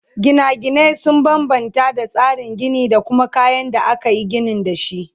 Gina gine sun banbanta da tsarin Gini da kuma kayan da akayi ginin dashi